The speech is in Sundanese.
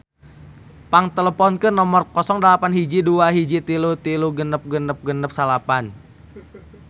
Pang teleponkeun nomer 08121336669